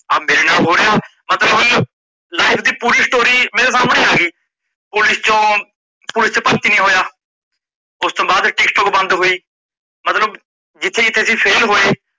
ਆ ਮੇਰੇ ਨਾਲ ਹੋ ਰਿਆ, ਮਤਲੱਬ life ਦੀ ਪੂਰੀ story ਮੇਰੇ ਸਾਮਣੇ ਆ ਗਈ, police ਚੋਂ police ਚ ਭਰਤੀ ਨਹੀਂ ਹੋਇਆ ਉਸਤੋਂ ਬਾਦ ਟੀਕਟੋਕ ਬੰਦ ਹੋਈ, ਮਤਲੱਬ ਜਿੱਥੇ ਜਿੱਥੇ ਅਸੀਂ fail ਹੋਏ